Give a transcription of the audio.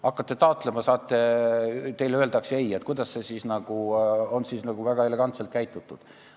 Hakkate taotlema, aga teile öeldakse "ei" – kas ikka on tegu väga elegantse lahenduskäiguga?